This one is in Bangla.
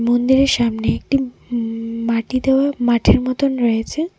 মন্দিরের সামনে একটি উমম মাটি দেওয়া মাঠের মতোন রয়েছে.